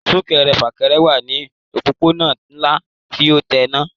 Súnkẹrẹ fàkẹrẹ wà ní òpópónà ńlá tí ó tẹ́ náà